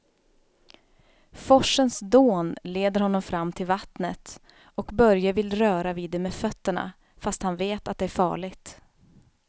Forsens dån leder honom fram till vattnet och Börje vill röra vid det med fötterna, fast han vet att det är farligt.